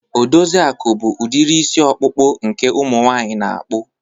Odoziaku bụ udiri isi ọkpụkpụ nke umu nwaanyị na-akpụ.